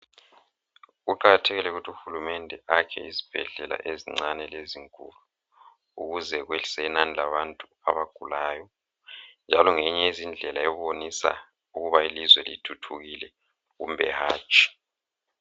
Kuqakathekile ukuthi uhulumende akhe izibhedlela ezincane lezinkulu ukuze kwehlise inani labantu abagulayo njalo ngeyinye yezindlela yokubonisa ukuba ilizwe lithuthukile kumbe hatshi.